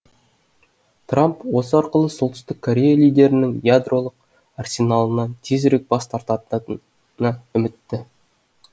трамп осы арқылы солтүстік корея лидерінің ядролық арсеналынан тезірек бас тартатынына үмітті